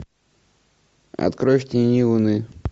открой в тени луны